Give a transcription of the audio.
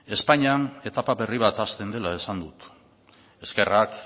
espainian etapa berri bat hasten dela esan dut eskerrak